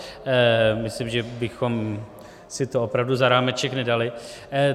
Myslím, že bychom si to opravdu za rámeček nedali.